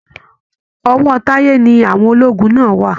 Ọwọ́ Táyé ni àwọn lọ́ọ̀gù náà wà.